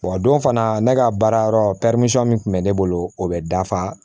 Wa don fana ne ka baara yɔrɔ min kun bɛ ne bolo o bɛ dafa